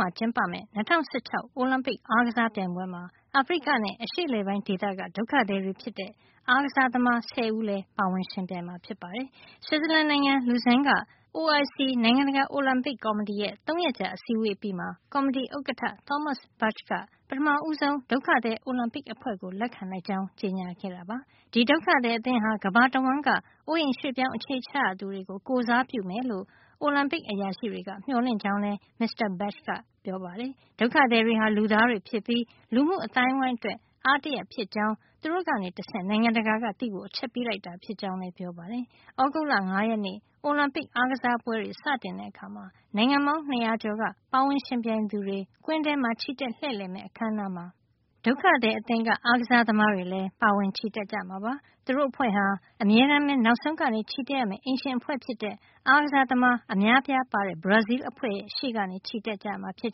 မှာ ကျင်းပမယ့် ၂၀၁၆ အိုလံပစ် အားကစား ပြိုင်ပွဲမှာ အာဖရိကနဲ့ အရှေ့အလယ်ပိုင်းဒေသက ဒုက္ခသည်တွေ ဖြစ်တဲ့ အားကစားသမား ဆယ်ဦးလည်းပါဝင်ယှဉ်ပြိုင်မှာ ဖြစ်ပါတယ်။ ဆွစ်ဇလန်နိုင်ငံ Lausanne က IOC နိုင်ငံတကာ အိုလံပစ်ကော်မတီရဲ့ ၃ ရက်ကြာ အစည်းအဝေးး အပြီးမှာ ကော်မတီ ဥက္ကဋ္ဌ Thomas Bach က ပထမဦးဆုံး ဒုက္ခသည် အိုလံပစ်အဖွဲ့ကို လက်ခံလိုက်ကြောင်း ကြေညာခဲ့တာပါ။ ဒီဒုက္ခသည် အသင်း ဟာ ကမ္ဘာတဝှမ်းက အိုးအိမ်ရွှေ့ပြောင်း အခြေချရသူတွေ ကို ကိုယ်စားပြုမယ်လို့ အိုလံပစ် အရာရှိတွေက မျှော်လင့်ကြောင်းလည်း မစ္စတာ Bach က ပြောပါတယ်။ဒုက္ခသည်တွေဟာလည်း လူသားတွေ ဖြစ်ပြီး လူမှုအသိုင်းအဝိုင်း အတွက် အားတရပ်ဖြစ်ကြောင်း သူတို့ကတဆင့် နိုင်ငံတကာက သိဖို့ အချက်ပေးလိုက်တာ ဖြစ်ကြောင်းလည်း ပြောပါတယ်။ သြဂုတ်လ ၅ ရက်နေ့ အိုလံပစ် အားကစားပွဲတွေ စတင်တဲ့အခါ နိုင်ငံပေါင်း ၂၀၀ ကျော်က ပါဝင်ယှဉ်ပြိုင်သူတွေ ကွင်းထဲမှာ ချီတက်လှည့်လည်မယ့် အခန်းအနားမှာ ဒုက္ခသည် အသင်းက အားကစား သမားတွေလည်း ပါဝင်ချီတက်ကြမှာပါ။ သူတို့အဖွဲ့ဟာ အမြဲတမ်းပဲ နောက်ဆုံးကနေ ချီတက်ရမယ့် အိမ်ရှင် အဖွဲ့ဖြစ်တဲ့ အားကစားသမား အများအပြားပါတဲ့ ဘရာဇီးလ် အဖွဲ့ ရှေ့ကနေ ချီတက်ကြမှာ ဖြစ်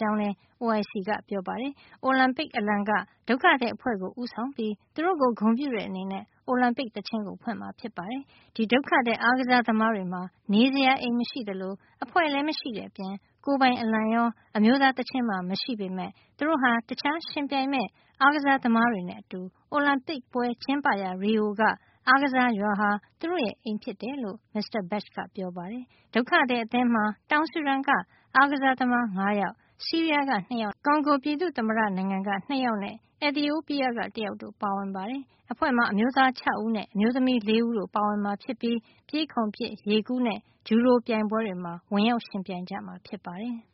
ကြောင်းလည်း IOC ကပြောပါတယ်။ အိုလံပစ်အလံက ဒုက္ခသည်အဖွဲ့ကို ဦးဆောင်ပြီး သူတို့ကို ဂုဏ်ပြုတဲ့ အနေနဲ့ အိုလံပစ် သီချင်းကို ဖွင့်မှာ ဖြစ်ပါတယ်။ ဒီဒုက္ခသည် အားကစား သမားတွေ မှာ နေစရာအိမ်မရှိသလို၊ အဖွဲ့လည်း မရှိတဲ့အပြင် ကိုယ်ပိုင်အလံရော အမျိုးသား သီချင်းပါ မရှိဘူးပေမယ့် သူတို့ဟာ တခြားယှဉ်ပြိုင်မယ့် အားကစား သမားတွေနဲ့ အတူ အိုလံပစ်ပွဲကျင်းပရာ Rio က အားကစား ရွာဟာ သူတို့ရဲ့ အိမ်ဖြစ်တယ်လို့ မစ္စတာ Bach ကပြောပါတယ်။ ဒုက္ခသည် အသင်းမှာ တောင်ဆူဒန်က အားကစားသမား ၅ ယောက် ဆီးရီးယားက ၂ ယောက်နဲ့ ကွန်ဒီမိုကရက်တစ် ကွန်ဂိုပြည်သူ့သမ္မတ နိုင်ငံက ၂ ယောက်နဲ့ အက်သီအိုးပီးယားက တယောက်တို့ ပါဝင်ပါတယ်။ အဖွဲ့မှာ အမျိုးသား ၆ ဦးနဲ့ အမျိုးသမီး ၄ ဦးတို့ ပါဝင်မှာ ဖြစ်ပြီး ပြေးခုန်ပစ်၊ ရေကူးနဲ့ ဂျူဒိုပြိုင်ပွဲတွေမှာ ဝင်ရောက်ယှဉ်ပြိုင် ကြမှာ ဖြစ်ပါတယ်။